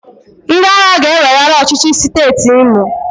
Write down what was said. Ndị agha ga-eweghara ọchịchị siteeti Imo.